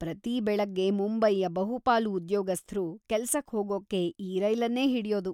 ಪ್ರತೀ ಬೆಳಗ್ಗೆ ಮುಂಬೈಯ ಬಹುಪಾಲು ಉದ್ಯೋಗಸ್ಥ್‌ರು ಕೆಲ್ಸಕ್ ಹೋಗೋಕ್ಕೆ‌ ಈ ರೈಲನ್ನೇ ಹಿಡ್ಯೋದು.